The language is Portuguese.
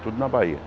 Tudo na Bahia.